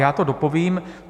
Já to dopovím.